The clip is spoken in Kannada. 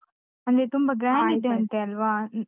ಅಲ್ಲಿ ತುಂಬ .